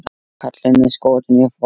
Kallinn er skotinn í Foldu.